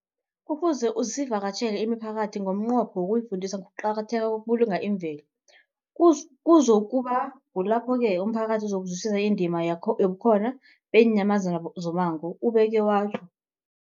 Kufuze sivakatjhele imiphakathi ngomnqopho wokuyifundisa ngokuqakatheka kokubulunga imvelo. Kuzoku ba kulapho-ke umphakathi uzokuzwisisa indima yobukhona beenyamazana zommango, ubeke watjho.